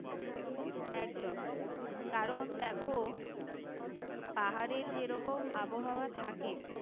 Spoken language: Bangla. একদম কারণ দেখো পাহাড়ের যেরকম আবহাওয়া থাকে